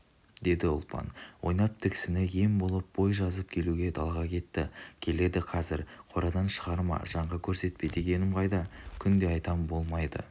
деді ұлпан ойнап тіксіні ем болып бой жазып келуге далаға кетті келеді қазір қорадан шығарма жанға көрсетпе дегенім қайда күнде айтам болмайды